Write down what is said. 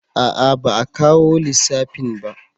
A'a ba a kawo lissafin ba